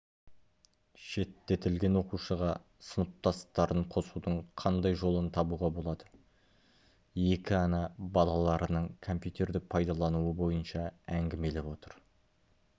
шеттетілген оқушыға сыныптастарын қосудың қандай жолын табуға болады екі ана балаларының компьютерді пайдалануы бойынша әңгімелесіп отыр